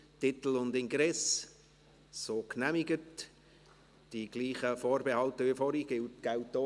Schlussabstimmung (1. und einzige Lesung)